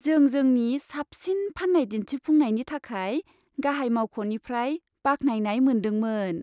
जों जोंनि साबसिन फाननाय दिन्थिफुंनायनि थाखाय गाहाय मावख'निफ्राय बाख्नायनाय मोनदोंमोन।